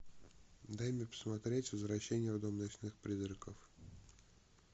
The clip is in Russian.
дай мне посмотреть возвращение в дом ночных призраков